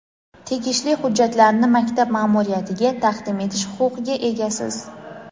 tegishli hujjatlarni maktab maʼmuriyatiga taqdim etish huquqiga egasiz.